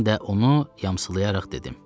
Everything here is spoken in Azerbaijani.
Mən də onu yamsılayaraq dedim.